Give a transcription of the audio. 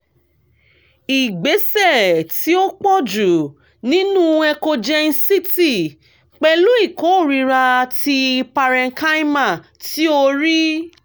igbesẹ ti o pọju ninu echogencity pẹlu ikorira ti parenchyma ti o rii